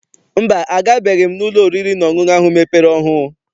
Mba, agabeghị m n'ụlọ oriri na ọṅụṅụ ahụ mepere ọhụụ.